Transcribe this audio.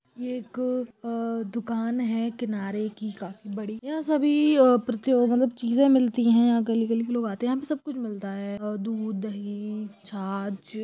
ये एक अ_दुकान है किनारे की काफी बड़ी यहाँ सभी अ प्रित्यो मतलब चीजों मिलती है यहाँ गली गली के लोग आते है यहाँ पर सब कुछ मिलता है ओ दूध दही छाछ।